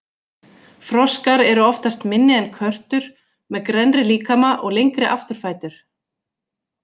Froskar eru oftast minni en körtur, með grennri líkama og lengri afturfætur.